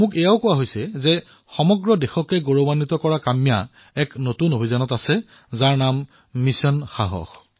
মোক ইয়াকো কোৱা হৈছে যে দেশক গৌৰৱান্বিত কৰা কাম্যা এক নতুন অভিযানৰ অংশীদাৰ হৈছে যাৰ নাম হল মিছন সাহস